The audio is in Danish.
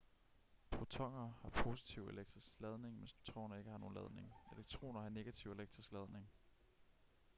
protoner har positiv elektrisk ladning mens neutroner ikke har nogen ladning elektroner har negativ elektrisk ladning